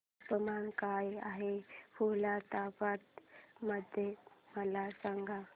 तापमान काय आहे खुलताबाद मध्ये मला सांगा